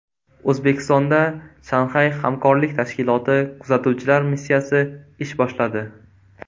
O‘zbekistonda Shanxay hamkorlik tashkiloti kuzatuvchilar missiyasi ish boshladi.